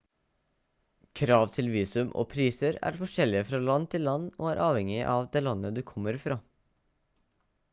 krav til visum og priser er forskjellig fra land til land og er avhengig av det landet du kommer fra